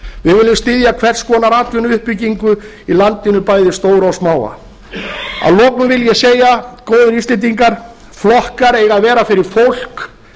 við viljum styðja hvers konar atvinnuuppbygging í landinu bæði stóra og smáa að lokum vil ég segja góðir íslendingar flokkar eiga að vera fyrir fólk